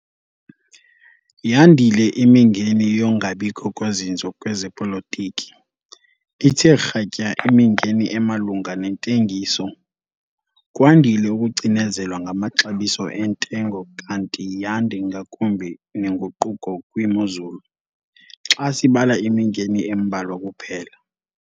YANDILE IMINGENI YOKUNGABIKHO KOZINZO KWEZEPOLITIKI, ITHE KRATYA IMINGENI EMALUNGA NENTENGISO, KWANDILE UKUCINEZELWA NGAMAXABISO ENTENGO KANTI YANDE NGAKUMBI NENGUQUKO KWIMOZULU, XA SIBALA IMINGENI EMBALWA KUPHELA.